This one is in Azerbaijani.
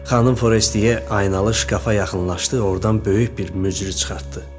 Xanım Forestiye aynalı şkafa yaxınlaşdı, ordan böyük bir mücrü çıxartdı.